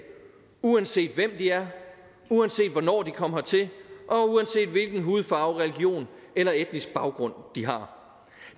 uanset hvem de er uanset hvornår de kom hertil og uanset hvilken hudfarve religion eller etnisk baggrund de har